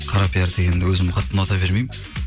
қара пиар дегенді өзім қатты ұната бермеймін